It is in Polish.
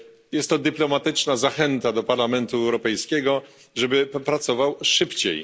Jest to dyplomatyczna zachęta dla Parlamentu Europejskiego, żeby pracował szybciej.